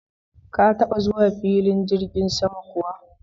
Ka taba zuwa filin jirgin sama kuwa?